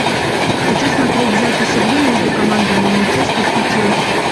хочу смотреть запись игры между командами манчестер и челси